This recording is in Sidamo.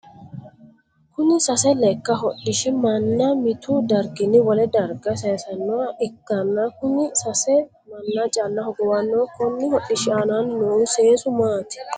Kunni sase leka hodhishi manna mitu darginni wole darga sayisanoha ikanna kunni sase manna calla hogowano konni hodhishi aanna noohu seesu maati?